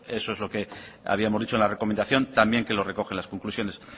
eso es lo que habíamos dicho en la recomendación también que lo recoge en las conclusiones